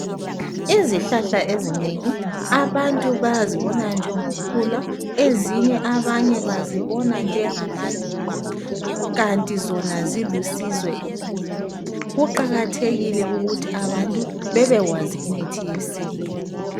Izihlahla ezinengi abantu bayazibona njengokhula. Ezinye abanye bazibona njengamaluba kanti zona zilusizo empilweni. Kuqakathekile ukuthi abantu bebekwazi imithi yesintu.